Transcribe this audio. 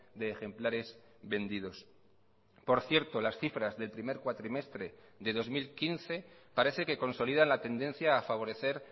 de ejemplares vendidos por cierto las cifras del primer cuatrimestre de dos mil quince parece que consolidan la tendencia a favorecer